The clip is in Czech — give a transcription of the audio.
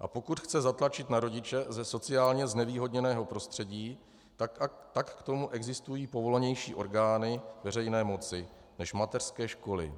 a pokud chce zatlačit na rodiče ze sociálně znevýhodněného prostředí, tak k tomu existují povolanější orgány veřejné moci než mateřské školy.